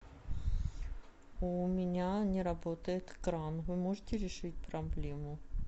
у меня не работает кран вы можете решить проблему